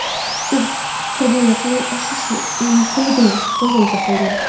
U qurbonlar soni oshishi mumkinligini qo‘shimcha qildi.